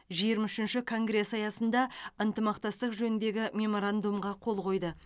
жиырма үшінші конгресі аясында ынтымақтастық жөніндегі меморандумға қол қойды